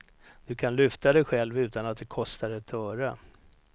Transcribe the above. Du kan lyfta dig själv utan att det kostar ett öre.